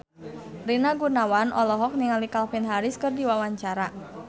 Rina Gunawan olohok ningali Calvin Harris keur diwawancara